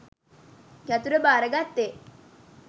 යතුර භාරගත්තෙ?